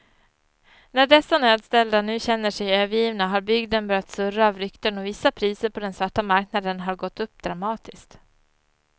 När dessa nödställda nu känner sig övergivna har bygden börjat surra av rykten och vissa priser på den svarta marknaden har gått upp dramatiskt.